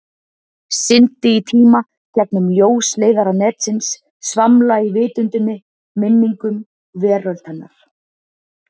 Syndi í tíma, gegnum ljósleiðara netsins, svamla í vitundinni, minningum, veröld hennar.